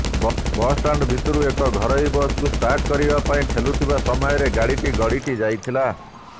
bus stand ଭିତରୁ ଏକ ଘରୋଇ ବସକୁ ଷ୍ଟାର୍ଟ କରିବା ପାଇଁ ଠେଲୁଥିବା ସମୟରେ ଗାଡ଼ିଟି ଗଡ଼ିଟି ଯାଇଥିଲା